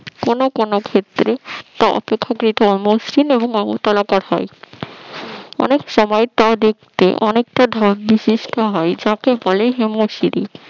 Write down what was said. কোন কোন ক্ষেত্রে প্রথম প্রথম মসৃণ এবং মমতলাপর হয় অনেকসময় তা দেখতে অনেকটা ঢাল বিশিষ্ট হয় যাকে বলে হিমো শরী